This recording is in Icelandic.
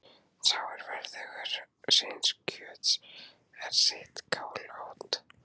Sá er verðugur síns kjöts er sitt kál át.